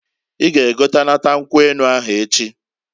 I ga egotanata nkwu enu ahụ echiǃ